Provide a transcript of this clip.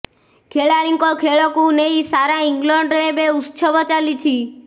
ଖେଳାଳିଙ୍କ ଖେଳକୁ ନେଇ ସାରା ଇଂଲଣ୍ଡରେ ଏବେ ଉତ୍ସବ ଚାଲିଛି